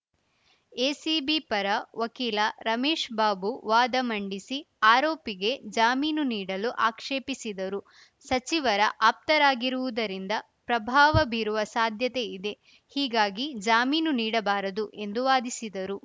ACB ಪರ ವಕೀಲ ರಮೇಶ್‌ ಬಾಬು ವಾದ ಮಂಡಿಸಿ ಆರೋಪಿಗೆ ಜಾಮೀನು ನೀಡಲು ಆಕ್ಷೇಪಿಸಿದರು ಸಚಿವರ ಆಪ್ತರಾಗಿರುವುದರಿಂದ ಪ್ರಭಾವ ಬೀರುವ ಸಾಧ್ಯತೆ ಇದೆ ಹೀಗಾಗಿ ಜಾಮೀನು ನೀಡಬಾರದು ಎಂದು ವಾದಿಸಿದರು